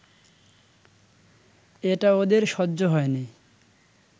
এটা ওদের সহ্য হয় নি